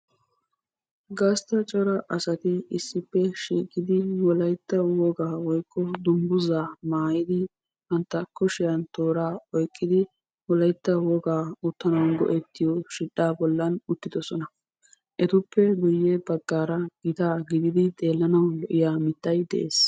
Gastta cora asaati issipe shiqqidi wolaytta woykko dunguuzza maayidi bantta kushiyan tooraa oyqqiidi wolaytta wogan uttanawu go'ettiyo shidhdha bollan uttidosona. Etupe guuyye baggara gitta gididi xeelanawu lo'iyaa mittay de'ees.